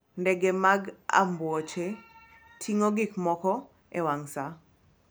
Ndege mag ambuoche ting'o gik moko e wang' sa.